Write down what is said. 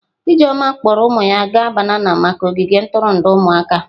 Ijeoma kpọọrọ ụmụ ya gaa banana maka ogige ntụrụndụ ụmụaka.